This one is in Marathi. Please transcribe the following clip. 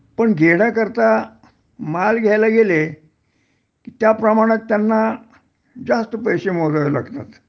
पण घेण्याकरता माल घ्यायला गेले कि त्याप्रमाणात त्यांना जास्त पैशे मोजावे लागतात